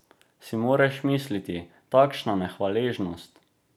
Si moreš misliti, takšna nehvaležnost!